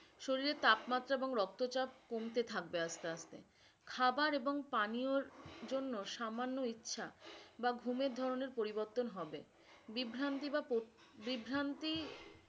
শরীরের তাপ মাত্রা এবং রক্ত চাপ কমতে থাকবে আস্তে আস্তে খাবার এবং পানিওর জন্য সামান্য ইচ্ছা বা ঘুমের ধরণের পরিবর্তন হবে বিভ্রান্তি বা বিভ্রান্তি